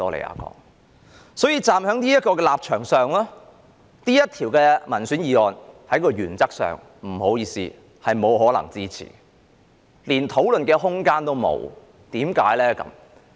因此，站在這個立場上，不好意思，這項議員議案原則上是不可以支持的，甚至連討論的空間也沒有，為甚麼呢？